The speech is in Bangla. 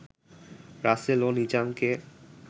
রাসেল ও নিজামকে